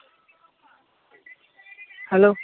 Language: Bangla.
hello